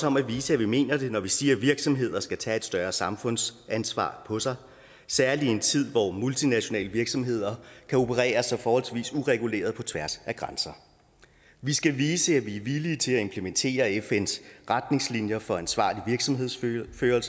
om at vise at vi mener det når vi siger at virksomheder skal tage et større samfundsansvar på sig særlig i en tid hvor multinationale virksomheder kan operere så forholdsvis ureguleret på tværs af grænser vi skal vise at vi er villige til at implementere fns retningslinjer for ansvarlig virksomhedsførelse og